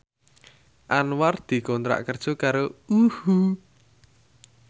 Anwar dikontrak kerja karo UHU